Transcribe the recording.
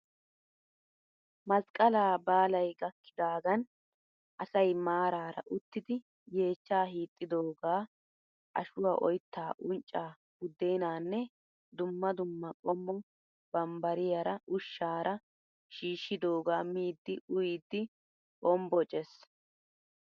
Masqqalaa baalayi gakkidaagan asayi maaraara uttidi yeechcha hiixxidooga ashuwaa oyittaa unccaa buddeenaanne dumma dumma qommo bambbariyaara ushshaara shiishshidoogaa miiddi uyiiddi hambboces.